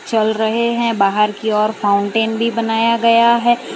चल रहे हैं बाहर की ओर फाउंटेन भी बनाया गया है।